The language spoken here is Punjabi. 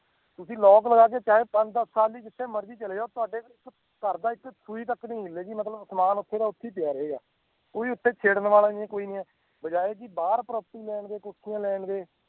ਤੁਸੀਂ lock ਲਗਾ ਕੇ ਚਾਹੇ ਪੰਜ ਦਸ ਸਾਲ ਲਈ ਜਿੱਥੇ ਮਰਜ਼ੀ ਚਲੇ ਜਾਓ ਤੁਹਾਡੇ ਪਿੱਛੋਂ ਘਰਦਾ ਇੱਕ ਸੂਈ ਤੱਕ ਨੀ ਹਿਲੇਗੀ ਮਤਲਬ ਸਮਾਨ ਉੱਥੇ ਦਾ ਉੱਥੇ ਹੀ ਪਿਆ ਰਹੇਗਾ, ਕੋਈ ਉੱਥੇ ਛੇੜਨ ਵਾਲਾ ਨੀ ਹੈ ਕੋਈ ਨੀ ਹੈ ਬਜਾਏ ਕਿ ਬਾਹਰ property ਲੈਣ ਦੇ ਕੋਠੀਆਂ ਲੈਣ ਦੇ